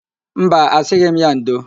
Mba, asịghị m ya ndo.